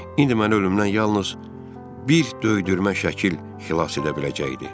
İndi məni ölümdən yalnız bir döydürmə şəkil xilas edə biləcəkdi.